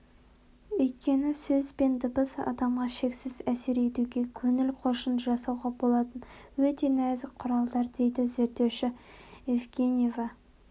өйткені сөз бен дыбыс адамға шексіз әсер етуге көңіл-қошын жасауға болатын өте нәзік құралдар дейді зерттеуші евгеньева